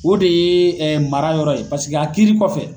O de ye mara yɔrɔ ye pasiki a kiiri kɔfɛ